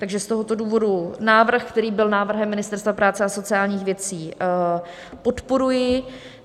Takže z tohoto důvodu návrh, který byl návrhem Ministerstva práce a sociálních věcí, podporuji.